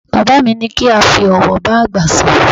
Bàbá mi ní kí a fi ọ̀wọ̀ bágbà sọ̀rọ̀